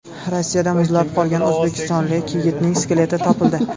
Rossiyada muzlab qolgan o‘zbekistonlik yigitning skeleti topildi.